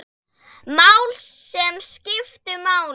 Mál, sem skiptu máli.